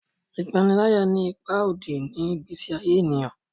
ipanilaya ní ipá òdì ni igbesi aye ènìyàn